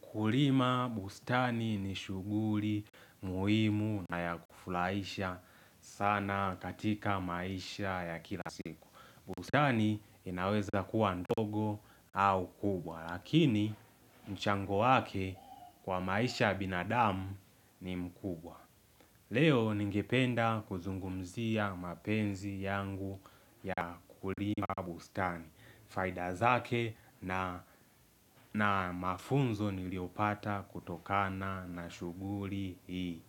Kulima bustani ni shughuli muhimu na ya kufurahisha sana katika maisha ya kila siku. Bustani inaweza kuwa ndogo au kubwa. Lakini mchango wake kwa maisha ya binadamu ni mkubwa. Leo ningependa kuzungumzia mapenzi yangu ya kulima bustani. Faida zake na na mafunzo niliyopata kutokana na shughuli hii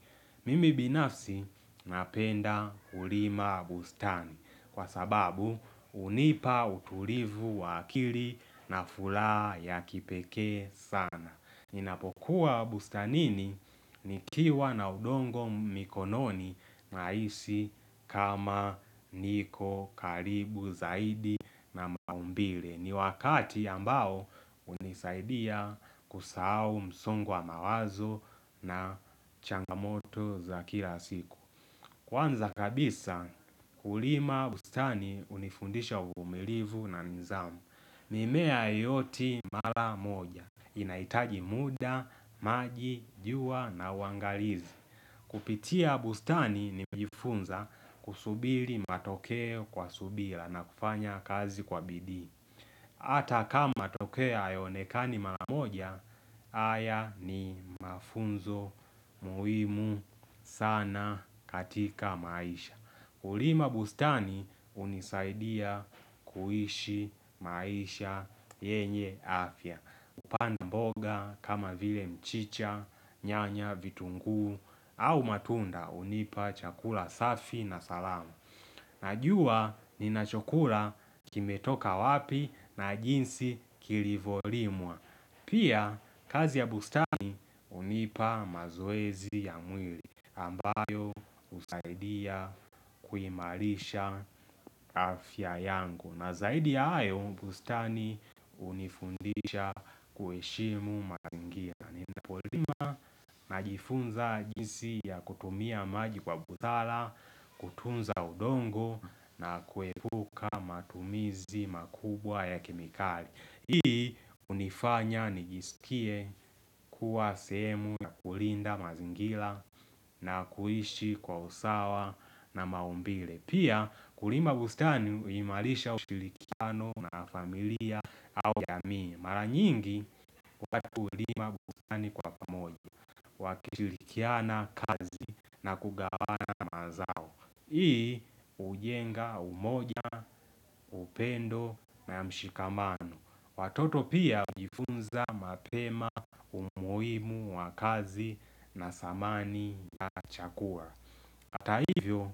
Mimi binafsi napenda kulima bustani kwa sababu hunipa utulivu wa akili na furaha ya kipekee sana. Ninapokuwa bustanini nikiwa na udongo mikononi nahisi kama niko karibu zaidi na maumbile. Ni wakati ambao hunisaidia kusahau msongo wa wazo na changamoto za kila siku Kwanza kabisa kulima bustani hunifundisha uvumilivu na nidhamu mimea yote mara moja inahitaji muda, maji, jua na uangalizi Kupitia bustani nimejifunza kusubiri matokeo kwa subira na kufanya kazi kwa bidii. Hata kama matokeo hayonekani mara moja, haya ni mafunzo muhimu sana katika maisha. Kulima bustani hunisaidia kuishi maisha yenye afya. Kupanda mboga kama vile mchicha, nyanya, vitunguu, au matunda hunipa chakula safi na salama. Najua ninachokula kimetoka wapi na jinsi kilivyolimwa Pia kazi ya bustani hunipa mazoezi ya mwili ambayo husaidia kuhimarisha afya yangu. Na zaidi ya hayo bustani hunifundisha kuheshimu mazingira. Ninapolima najifunza jinsi ya kutumia maji kwa busara kutunza udongo na kuepuka matumizi makubwa ya kemikali. Hii hunifanya nijiskie kuwa sehemu na kulinda mazingira na kuishi kwa usawa na maumbile. Pia kulima bustani huimarisha ushirikiano na familia au ya mimi. Mara nyingi watu hulima bustani kwa pamoja wakishirikiana kazi na kugawana mazao. Hii hujenga umoja, upendo na mshikamano Watoto pia hujifunza mapema, umuhimu wa kazi na samani ya chakua Hata hivyo,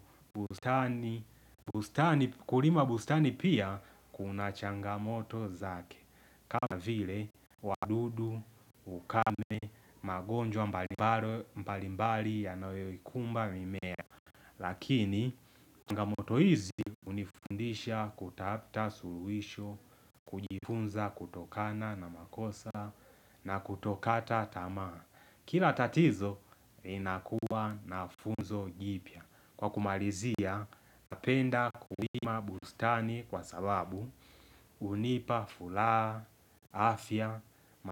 bustani kulima bustani pia kuna changamoto zake. Kama vile wadudu, ukame, magonjwa mbalimbali yanayoikumba mimea Lakini, changamoto hizi hunifundisha kutafuta suluhisho, kujifunza kutokana na makosa na kutokata tamaa. Kila tatizo linakua na funzo jipya. Kwa kumalizia, napenda kulima bustani kwa salabu hunipa furaha, afya,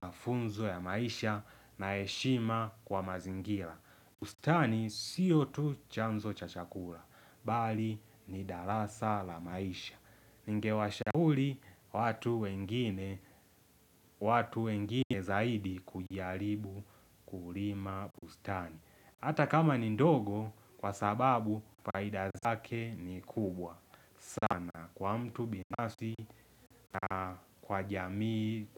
mafunzo ya maisha na heshima kwa mazingira. Bustani sio tu chanzo cha chakula, bali ni darasa la maisha. Ningewashauri watu wengine watu wengine zaidi kujaribu kulima bustani Hata kama ni ndogo kwa sababu faida zake ni kubwa sana kwa mtu binafsi na kwa jamii.